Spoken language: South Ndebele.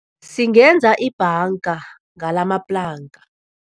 Singenza ibhanga ngalamaplanka.